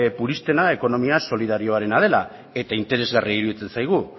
puristena ekonomia solidarioarena dela eta interesagarria iruditzen zaigu